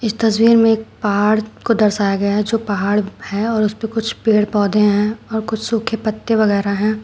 इस तस्वीर में एक पहाड़ को दर्शाया गया है जो पहाड़ है और उसपे कुछ पेड़ पौधे हैं और कुछ सूखे पत्ते वगैरा हैं।